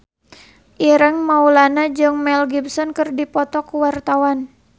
Ireng Maulana jeung Mel Gibson keur dipoto ku wartawan